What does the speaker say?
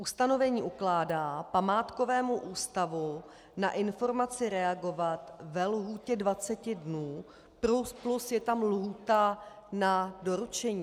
Ustanovení ukládá památkovému ústavu na informaci reagovat ve lhůtě 20 dnů, plus je tam lhůta na doručení.